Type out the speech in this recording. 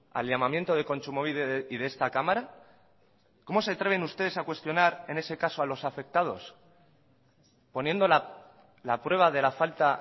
al llamamiento de kontsumobide y de esta cámara cómo se atreven ustedes a cuestionar en ese caso a los afectados poniendo la prueba de la falta